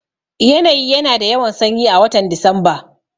Yanayi ya na da yawan sanyi a watan Disamba